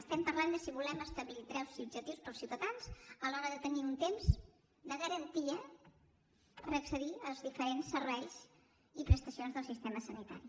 estem parlant de si volem establir drets subjectius per als ciutadans a l’hora de tenir un temps de garantia per accedir als diferents serveis i prestacions del sistema sanitari